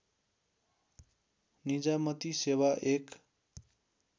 निजामती सेवा एक